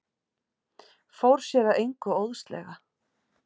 Fór sér að engu óðslega.